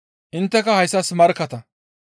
Intteka hayssas markkatta.